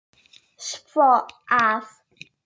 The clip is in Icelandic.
svo að